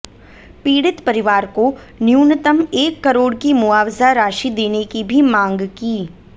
पीडि़त परिवार को न्यूनतम एक करोड़ की मुआवजा राशि देने की भी मांग की